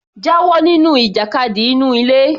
Jáwọ nínú ìjàkadì inú ilé